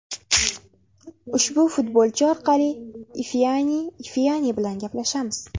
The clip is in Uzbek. Ushbu futbolchi orqali Ifeani Ifeani bilan gaplashamiz.